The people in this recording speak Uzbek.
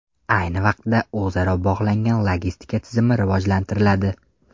Ayni vaqtda o‘zaro bog‘langan logistika tizimi rivojlantiriladi.